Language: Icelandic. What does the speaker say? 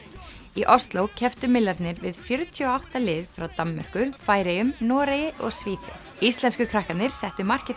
í Osló kepptu við fjörutíu og átta lið frá Danmörku Færeyjum Noregi og Svíþjóð íslensku krakkarnir settu markið